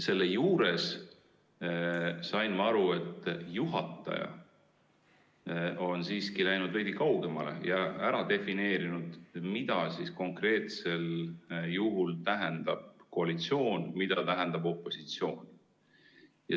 Selle juures sain ma aru, et juhataja on siiski läinud veidi kaugemale ning ära defineerinud, mida konkreetsel juhul tähendab koalitsioon ja mida tähendab opositsioon.